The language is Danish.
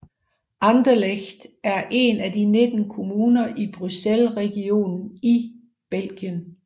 Anderlecht er en af 19 kommuner i Bruxellesregionen i Belgien